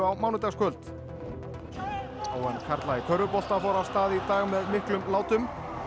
mánudagskvöld h m karla í körfubolta fór af stað í dag með miklum látum